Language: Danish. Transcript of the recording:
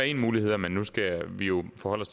én mulighed men nu skal vi jo forholde